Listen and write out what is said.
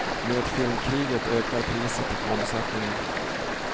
Med filmkriget ökar priset och omsättningen.